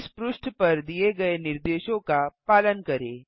इस पृष्ठ पर दिए गए निर्देशों का पालन करें